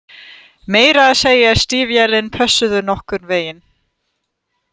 Meira að segja stígvélin pössuðu nokkurn veginn